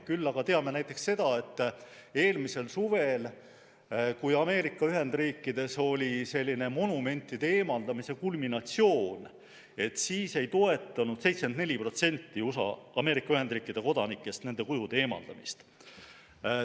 Küll aga teame näiteks seda, et eelmisel suvel, kui Ameerika Ühendriikides oli selline monumentide eemaldamise kulminatsioon, siis ei toetanud 74% Ameerika Ühendriikide kodanikest nende kujude eemaldamist.